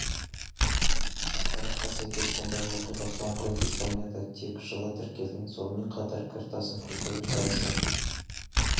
ақпаратқа сәйкес бұндай оқиға соңғы рет испанияда тек жылы тіркелген сонымен қатар кір тасын көтеру сайысы